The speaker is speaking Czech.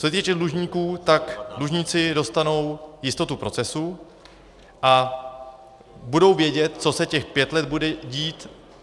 Co se týče dlužníků, tak dlužníci dostanou jistotu procesu a budou vědět, co se těch pět let bude dít.